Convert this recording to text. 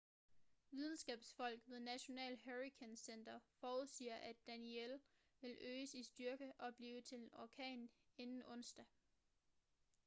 videnskabsfolk ved national hurricane center forudsiger at danielle vil øges i styrke og blive til en orkan inden onsdag